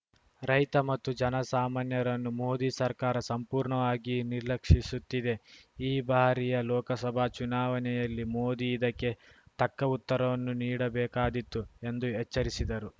ರೈತ ಮತ್ತು ಜನಸಾಮಾನ್ಯರನ್ನು ಮೋದಿ ಸರ್ಕಾರ ಸಂಪೂರ್ಣವಾಗಿ ನಿರ್ಲಕ್ಷಿಸುತ್ತಿದೆ ಈ ಬಾರಿಯ ಲೋಕಸಭಾ ಚುನಾವಣೆಯಲ್ಲಿ ಮೋದಿ ಇದಕ್ಕೆ ತಕ್ಕ ಉತ್ತರವನ್ನು ನೀಡಬೇಕಾದೀತು ಎಂದು ಎಚ್ಚರಿಸಿದರು